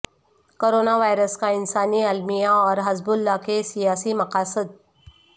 corona virus کا انسانی المیہ اور حزب اللہ کے سیاسی مقاصد